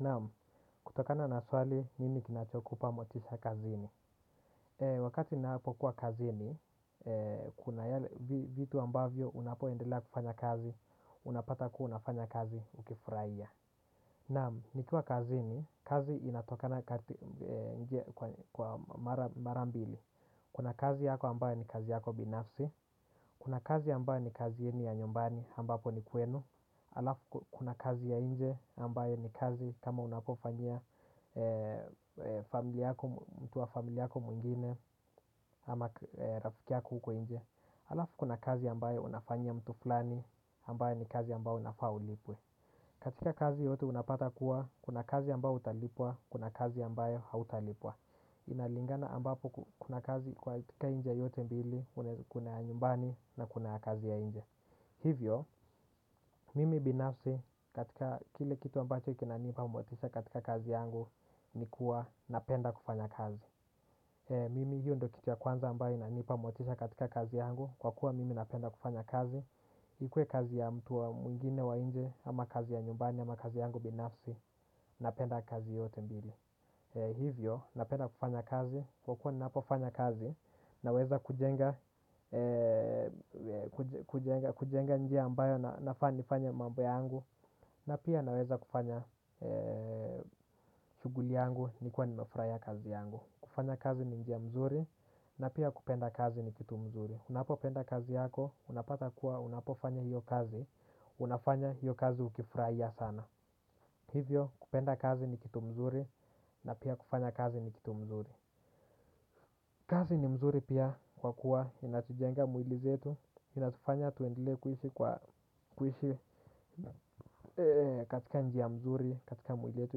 Naam, kutokana na swali nini kinachokupa motisha kazini. Wakati napokuwa kazini, kuna vitu ambavyo unapoendela kufanya kazi, unapata kuwa unafanya kazi ukifurahia. Naam, niktwa kazini, kazi inatokana kwa mara mbili, kuna kazi yako ambayo ni kazi yako binafsi. Kuna kazi ambayo ni kazi yenu ya nyumbani ambapo ni kwenu. Alafu kuna kazi ya nje ambayo ni kazi kama unapofanyia mtu wa familia yako mwengine ama rafiki yako huko nje. Alafu kuna kazi ambayo unafanyia mtu flani ambayo ni kazi ambayo unafaa ulipwe. Katika kazi yote unapata kuwa, kuna kazi ambayo utalipwa, kuna kazi ambayo hautalipwa. Inalingana ambapo kuna kazi kwa tika njia yote mbili, kuna ya nyumbani na kuna kazi ya nje. Hivyo, mimi binafsi katika kile kitu ambacho kina nipa motisha katika kazi yangu ni kuwa napenda kufanya kazi. Mimi hiyo ndo kitu ya kwanza ambayo inanipa motisha katika kazi yangu kwa kuwa mimi napenda kufanya kazi. Ikue kazi ya mtu wa mwingine wa nje ama kazi ya nyumbani ama kazi yangu binafsi napenda kazi yote mbili. Hivyo, napenda kufanya kazi, kwa kuwa ninapofanya kazi, naweza kujenga kujenga njia ambayo nafaa nifanye mambo yangu. Na pia naweza kufanya shuguli yangu nikiwa nimefraiya kazi yangu. Kufanya kazi ni njia mzuri, na pia kupenda kazi ni kitu mzuri. Unapo penda kazi yako, unapata kuwa unapofanya hiyo kazi, unafanya hiyo kazi ukifraiya sana. Hivyo kupenda kazi ni kitu mzuri na pia kufanya kazi ni kitu mzuri. Kazi ni mzuri pia kwa kuwa inatujenga mwili zetu. Inatufanya tuendelee kuishi katika njia mzuri katika mwili yetu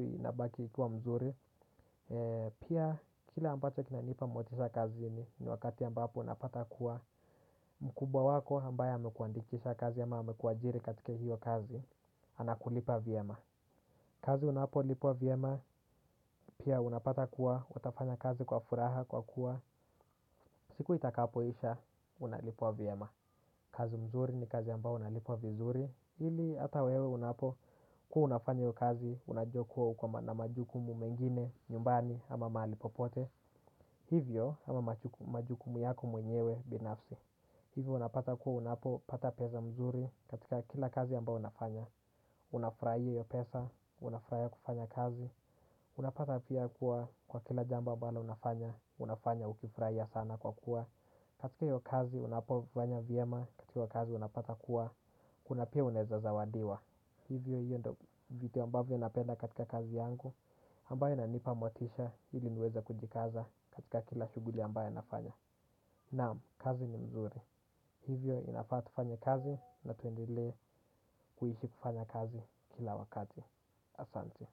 inabaki ikiwa mzuri pia kila ambacho kinanipa motisha kazi ni wakati ambapo unapata kuwa mkumba wako ambaye amekuandikisha kazi ama amekuajiri katika hiyo kazi. Anakulipa vyema. Kazi unapolipwa vyema, pia unapata kuwa, utafanya kazi kwa furaha kwa kuwa, siku itakapoisha, unalipwa vyema. Kazi mzuri ni kazi ambao unalipwa vizuri, ili ata wewe unapokuwa unafanya iyo kazi, unajua kuwa uko na majukumu mengine, nyumbani ama maali popote. Hivyo ama majukumu yako mwenyewe binafsi. Hivo unapata kuwa unapopata peza mzuri katika kila kazi ambao unafanya. Unafraia iyo pesa, unafraia kufanya kazi. Unapata pia kuwa kwa kila jambo ambalo unafanya. Unafanya ukifraia sana kwa kuwa katika iyo kazi, unapofanya vyema katika kazi unapata kuwa kuna pia unaeza zawadiwa. Hivyo hiyo ndo vitu ambavyo napenda katika kazi yangu ambayo inanipa motisha ili niweza kujikaza katika kila shuguli ambayp nafanya. Naam, kazi ni mzuri. Hivyo inafaa tufanye kazi na tuendelee kuishi kufanya kazi kila wakati. Asante.